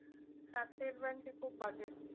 হ্যাঁ স্টেট ব্যাঙ্কে খুব বাজে।